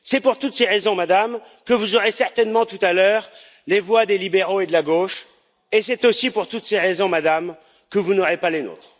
C'est pour toutes ces raisons, Madame, que vous aurez certainement tout à l'heure les voix des libéraux et de la gauche et c'est aussi pour toutes ces raisons, Madame, que vous n'aurez pas les nôtres.